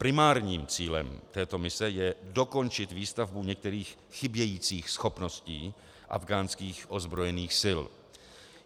Primárním cílem této mise je dokončit výstavbu některých chybějících schopností afghánských ozbrojených sil.